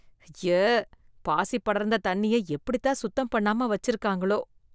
ஐய! பாசி படர்ந்த தண்ணிய எப்படித்தான் சுத்தம் பண்ணாம வச்சு இருக்காங்களோ!